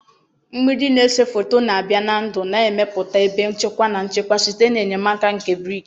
Mgbidi na-ese foto na-abịa na ndụ na-emepụta ebe nchekwa na nchekwa site n'enyemaka nke brik